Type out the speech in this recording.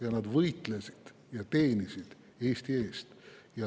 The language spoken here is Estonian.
Aga nad võitlesid seal Eesti eest ja teenisid Eestit.